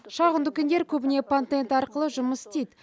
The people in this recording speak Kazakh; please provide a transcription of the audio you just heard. шағын дүкендер көбіне патент арқылы жұмыс істейді